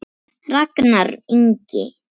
Ragnar Ingi.